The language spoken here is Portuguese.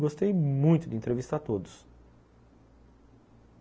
Gostei muito de entrevistar todos.